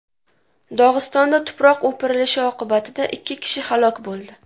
Dog‘istonda tuproq o‘pirilishi oqibatida ikki kishi halok bo‘ldi.